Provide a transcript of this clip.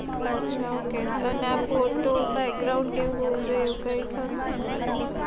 અચ્છા Okay અને આ ફોટો break ground કે એવું હોઉં જોઈએ કઈ ખરું મતલબ કે